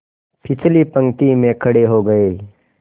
पिछली पंक्ति में खड़े हो गए